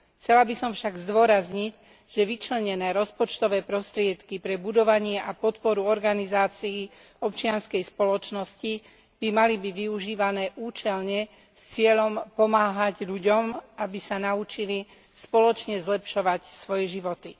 Chcela by som však zdôrazniť, že vyčlenené rozpočtové prostriedky pre budovanie a podporu organizácií občianskej spoločnosti by mali byť využívané účelne s cieľom pomáhať ľuďom, aby sa naučili spoločne zlepšovať svoje životy.